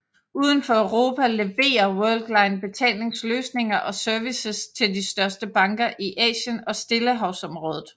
Uden for Europa leverer Worldline betalingsløsninger og services til de største banker i Asien og Stillehavsområdet